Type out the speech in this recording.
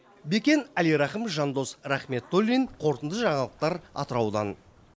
бекен әлирахым жандос рахметуллин қорытынды жаңалықтар атыраудан